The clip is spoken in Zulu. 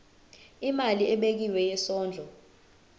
imali ebekiwe yesondlo